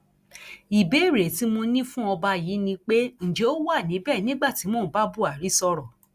ìbéèrè tí mo ní fún ọba yìí ni pé ǹjẹ ó wà níbẹ nígbà tí mò ń bá buhari sọrọ